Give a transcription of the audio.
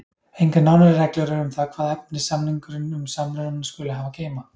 Engar nánari reglur eru um það hvaða efni samningurinn um samrunann skuli hafa að geyma.